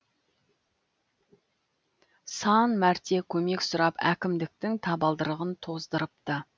сан мәрте көмек сұрап әкімдіктің табалдырығын тоздырыпты